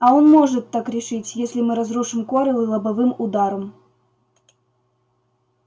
а он может так решить если мы разрушим корел лобовым ударом